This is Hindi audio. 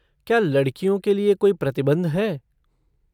क्या लड़कियों के लिए कोई प्रतिबंध है?